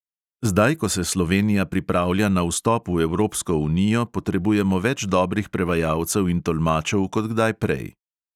Zdaj, ko se slovenija pripravlja na vstop v evropsko unijo, potrebujemo več dobrih prevajalcev in tolmačev kot kdaj prej.